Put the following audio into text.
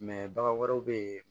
bagan wɛrɛw bɛ ye